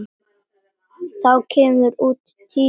Þá kemur út tígull.